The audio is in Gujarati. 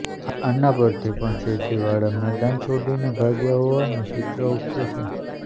આના પરથી પણ તેજીવાળા મેદાન છોડીને ભાગ્યા હોવાનું ચિત્ર ઉપસે છે